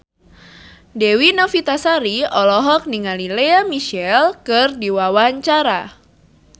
Dewi Novitasari olohok ningali Lea Michele keur diwawancara